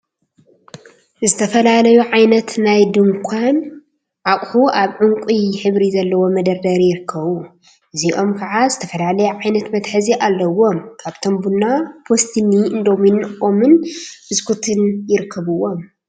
ዝተፈላለዩ ዓይነት ናይ ድንኳ አቁሑ አብ ዕንቋይ ሕብሪ ዘለዎ መደርደሪ ይርከቡ፡፡ እዚኦም ከዓ ዝተፈላለየ ዓይነት መትሓዚ አለዎም፡፡ ካብአቶም ቡና፣ ፓስትኒ፣ እንዶሚን፣ ኦሞን ብስኩትን ይርከቡዎም፡፡